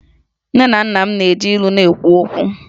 Nne na nna m na-eji ilu na-ekwu okwu